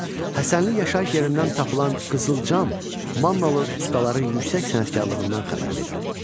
Həsənli yaşayış yerindən tapılan qızıl cam mannalı ustaların yüksək sənətkarlığından xəbər verirdi.